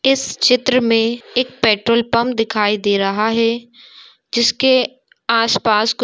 इस चित्र में एक पेट्रोल पंप दिखाई दे रहा है जिसके आसपास कुछ--